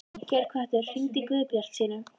Geirhvatur, hringdu í Guðbjartsínu.